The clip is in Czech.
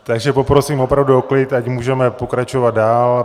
Takže poprosím opravdu o klid, ať můžeme pokračovat dál.